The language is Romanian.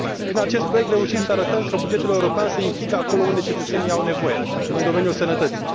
Prin acest proiect, reușim să arătăm că bugetul european se implică acolo unde cetățenii au nevoie, în domeniul sănătății.